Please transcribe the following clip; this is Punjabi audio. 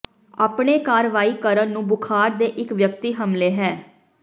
ਆਪਣੇ ਕਾਰਵਾਈ ਕਰਨ ਨੂੰ ਬੁਖ਼ਾਰ ਦੇ ਇੱਕ ਵਿਅਕਤੀ ਹਮਲੇ ਹੈ